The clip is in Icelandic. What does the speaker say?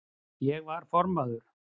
Ég var formaður